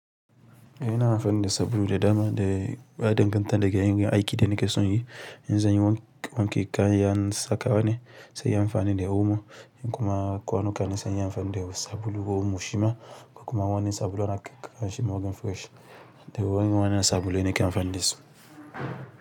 E na amfani da sabulu de dama de ba danganta da yanayin aiki dana ke sonyi. In zanyi wonki kayan saka wane se inyi am fanin de omo in kuma kwanuka ne se inyi am fanin de sabulu ko omo shima ko kuma wani sabulu ana kiran shi morning fresh de irin wannan sabulu ni ke am fanin dasu.